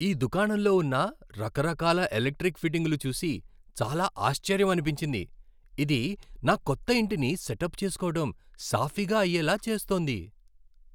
ఈ దుకాణంలో ఉన్న రకరకాల ఎలక్ట్రిక్ ఫిట్టింగ్లు చూసి చాలా ఆశ్చర్యమనిపించింది. ఇది నా కొత్త ఇంటిని సెటప్ చేసుకోవడం సాఫీగా అయ్యేలా చేస్తోంది.